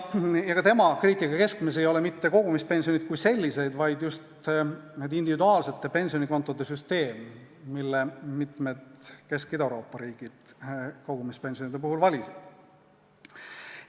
Ja tema kriitika keskmes ei ole mitte kogumispension kui selline, vaid just individuaalsete pensionikontode süsteem, mille mitmed Kesk- ja Ida-Euroopa riigid kogumispensioni puhul valisid.